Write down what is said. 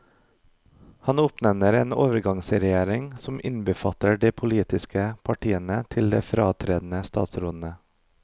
Han oppnevner en overgangsregjering som innbefatter de politiske partiene til de fratredende statsrådene.